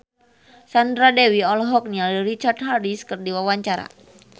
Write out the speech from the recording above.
Sandra Dewi olohok ningali Richard Harris keur diwawancara